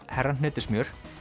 herra hnetusmjör